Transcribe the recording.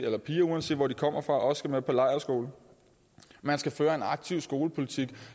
at piger uanset hvor de kommer fra også skal med på lejrskole man skal føre en aktiv skolepolitik